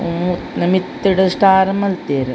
ಹ್ಮ್ ನ ಮಿತ್ತ್ ಡು ಸ್ಟಾರ್ ಮಲ್ತೆರ್.